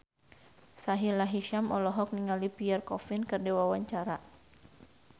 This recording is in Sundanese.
Sahila Hisyam olohok ningali Pierre Coffin keur diwawancara